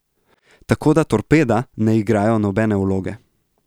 Tako da torpeda ne igajo nobene vloge.